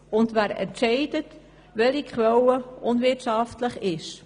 Und wer entscheidet, welche Quelle unwirtschaftlich ist?